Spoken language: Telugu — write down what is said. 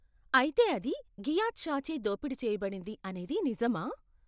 అయితే అది ఘియత్ షాచే దోపిడీ చేయబడింది అనేది నిజమా?